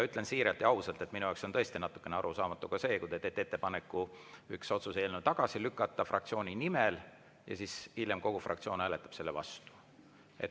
Ütlen siiralt ja ausalt, et minu jaoks on tõesti natukene arusaamatu ka see, kui te teete fraktsiooni nimel ettepaneku üks otsuse eelnõu tagasi lükata ja hiljem kogu fraktsioon hääletab selle vastu.